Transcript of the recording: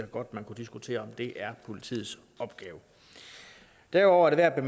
godt man kunne diskutere om det er politiets opgave derudover er det værd at